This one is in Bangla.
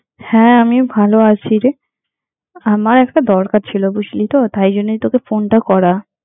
হ্যাঁ, আমিও ভালো আছি রে, আমার একটা দরকার ছিল, বুঝলি তো? তাইজন্যেই তোকে ফোনটা করা।